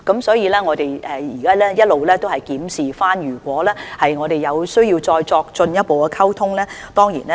所以，我們會一直檢視情況，如有需要，當然會作進一步溝通。